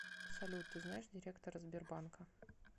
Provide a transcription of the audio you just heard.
салют ты знаешь директора сбербанка